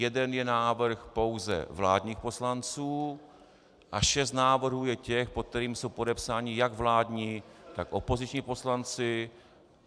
Jeden je návrh pouze vládních poslanců a šest návrhů je těch, pod kterými jsou podepsáni jak vládní tak opoziční poslanci.